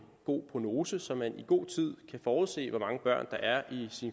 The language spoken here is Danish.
god prognose så man i god tid kan forudse hvor mange børn der er i